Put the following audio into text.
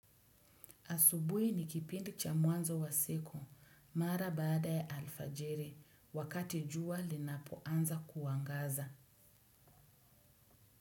Asubuhi ni kipindi cha mwanzo wa siku, mara baada ya alfajiri, wakati jua linapoanza kuangaza.